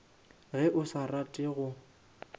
ge o sa rate go